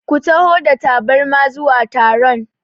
Ku taho da tabarma zuwa taron!